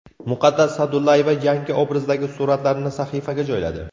Muqaddas Sa’dullayeva yangi obrazdagi suratlarini sahifasiga joyladi.